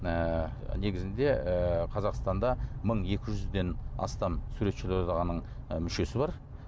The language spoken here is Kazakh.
ыыы негізінде ы қазақстанда мың екі жүзден астам суретшілер одағының ы мүшесі бар